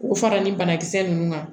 K'u fara ni banakisɛ ninnu kan